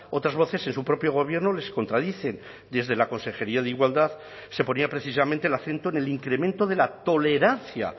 otras voces en su propio gobierno les contradicen desde la consejería de igualdad se ponía precisamente el acento en el incremento de la tolerancia